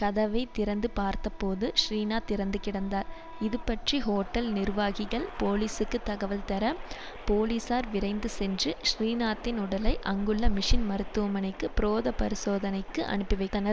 கதவை திறந்து பார்த்தபோது ஸ்ரீநாத் இறந்து கிடந்தார் இதுபற்றி ஹோட்டல் நிர்வாகிகள் போலீசுக்கு தகவல்தர போலீசார் விரைந்து சென்று ஸ்ரீநாத்தின் உடலை அங்குள்ள மிஷின் மருத்துவமணைக்கு பிரோத பரிசோதனைக்கு அனுப்பிவைதனர்